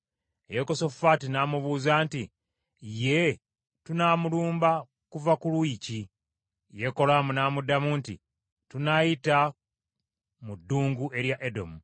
Yekosafaati n’amubuuza nti, “Ye, tunaalumba kuva ku luuyi ki?” Yekolaamu n’amuddamu nti, “Tunaayita mu ddungu erya Edomu.”